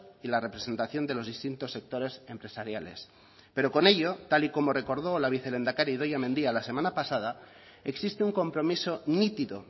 y la representación de los distintos sectores empresariales pero con ello tal y como recordó la vicelehendakari idoia mendia la semana pasada existe un compromiso nítido